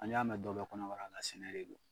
An y'a mɛn dɔ bɛɛ kɔnɔbara la, an sanuyalen don.